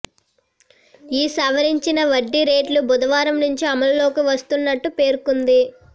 ఈ సవరించిన వడ్డీ రేట్లు బుధవారం నుంచి అమల్లోకి వస్తున్నట్లు పేర్కొం ది